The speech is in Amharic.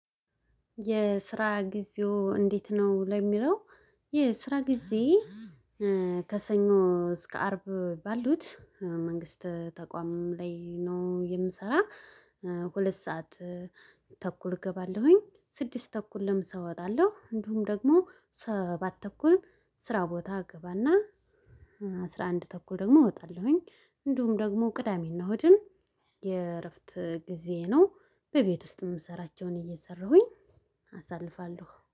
የስራ ጊዜው እንዴት? ነው ለሚለው የስራ ጊዜ ከሰኞ እስከ አርብ ባሉት መንግስት ተቋምም ላይ ነው የምሰራ። ሁለት ሰዓት ተኩል እገባለሁኝ ስድስት ተኩል ለምሳ እወጣለሁ እንዲሁም ደግሞ ሰባት ተኩል ስራ ቦታ ገባና አስራ አንድ ተኩል ደግሞ እወጣለሁኝ። እንዲሁም ደግሞ ቅዳሜና ሆድም የእረፍት ጊዜዬ ነው። በቤት ውስጥ የምሰራቸውን እየሰራሁኝ አሳልፋለሁ